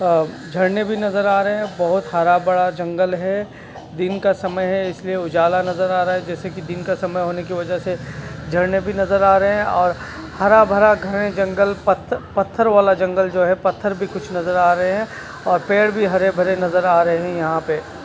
अ झरने भी नजर आ रहे हैं। बहोत हरा बड़ा जंगल है। दिन का समय है। इसलिए उजाला नजर आ रहा है। जैसे की दिन का समय होने की वजह से झरने भी नजर आ रहे हैं। और हरा-भरा घने जंगल पत्थ पत्थर वाला जंगल जो है। पत्थर भी कुछ नजर आ रहे हैं। और पेड़ भी हरे-भरे नजर आ रहें हैं। यहाँ पे --